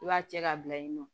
I b'a cɛ ka bila yen nɔ